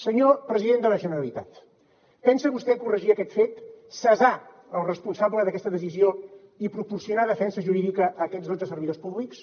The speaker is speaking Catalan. senyor president de la generalitat pensa vostè corregir aquest fet cessar el responsable d’aquesta decisió i proporcionar defensa jurídica a aquests dotze servidors públics